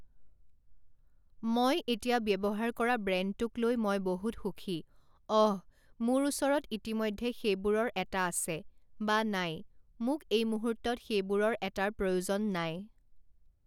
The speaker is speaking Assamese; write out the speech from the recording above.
মই এতিয়া ব্যৱহাৰ কৰা ব্ৰেণ্ডটোক লৈ মই বহুত সুখী, অহ, মোৰ ওচৰত ইতিমধ্যে সেইবোৰৰ এটা আছে, বা নাই, মোক এই মুহূৰ্তত সেইবোৰৰ এটাৰ প্ৰয়োজন নাই।